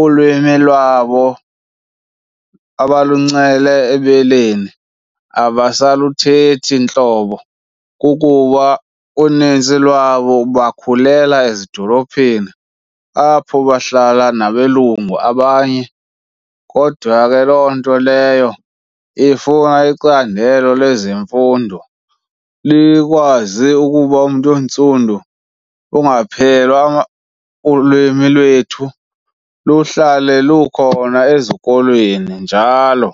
ulwimi lwabo abaluncele ebeleni abasaluthethi ntlobo. Kukuba unintsi lwabo bakhulela ezidolophini, apho bahlala nabelungu abanye. Kodwa ke loo nto leyo ifuna icandelo lezemfundo likwazi ukuba umntu ontsundu ungaphelwa , ulwimi lwethu luhlale lukhona ezikolweni njalo.